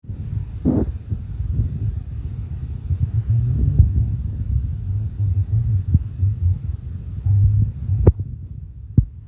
meyioloi entoki kamili nayau ena moyian e Anencephaly